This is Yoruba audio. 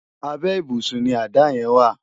Àbè ibúsùn ni àdá yèn wá